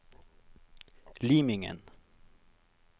Limingen